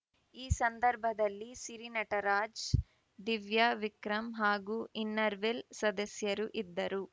ಈ ಸಂದರ್ಭದಲ್ಲಿ ಸಿರಿ ನಟರಾಜ್‌ ದಿವ್ಯಾ ವಿಕ್ರಂ ಹಾಗೂ ಇನ್ನರ್‌ವಿಲ್‌ ಸದಸ್ಯರು ಇದ್ದರು